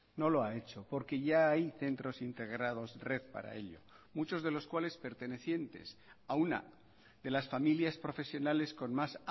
no lo ha hecho porque ya hay centros integrados red para ello muchos de los cuales pertenecientes a una de las familias profesionales con más